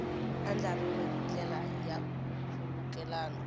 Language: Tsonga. andlariwile hi ndlela ya nkhulukelano